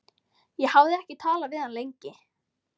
Ég hafði ekki talað við hann lengi.